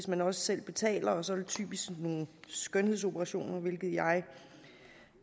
man også selv betaler og så er det typisk nogle skønhedsoperationer hvilket jeg